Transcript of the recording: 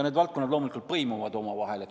Need valdkonnad loomulikult põimuvad omavahel.